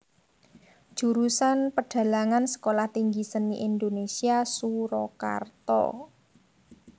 Jurusan Pedhalangan Sekolah Tinggi Seni Indonesia Surakarta